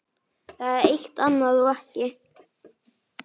Það eitt- og annað ekki.